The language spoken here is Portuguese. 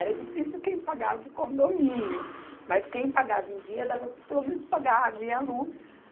Era difícil quem pagava o condomínio, mas quem pagava em dia dava pelo menos para pagar a água e a luz.